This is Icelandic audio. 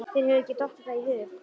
Þér hefur ekki dottið það í hug?